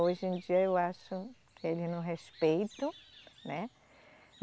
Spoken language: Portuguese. Hoje em dia eu acho que eles não respeitam, né?